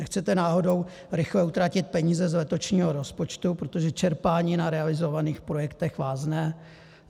Nechcete náhodou rychle utratit peníze z letošního rozpočtu, protože čerpání na realizovaných projektech vázne?